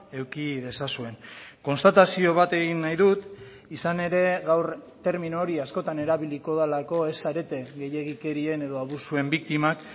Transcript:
eduki dezazuen konstatazio bat egin nahi dut izan ere gaur termino hori askotan erabiliko delako ez zarete gehiegikerien edo abusuen biktimak